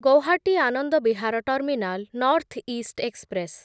Guwahati Anand Vihar terminal north east express